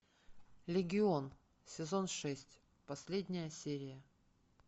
легион сезон шесть последняя серия